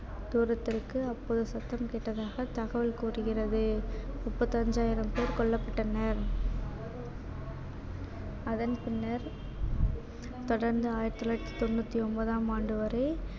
தூரத்திற்கு அப்போது சத்தம் கேட்டதாக தகவல் கூறுகிறது முப்பத்தஞ்சாயிரம் பேர் கொல்லப்பட்டனர் அதன் பின்னர் தொடர்ந்து ஆயிரத்து தொள்ளாயிரத்து தொண்ணூத்தி ஒன்பதாம் ஆண்டு வரை